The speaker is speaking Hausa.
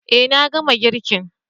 Eh na gama girkin.